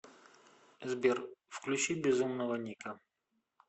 сбер включи безумного ника